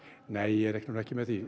nei ég reikna nú ekki með því